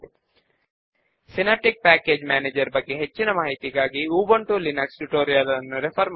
మనము డిజైన్ చేయబోయే ఫామ్ యొక్క సాంపుల్ స్క్రీన్ షాట్ ఇక్కడ ఉన్నది